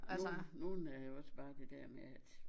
Nogen nogen er også bare det der med at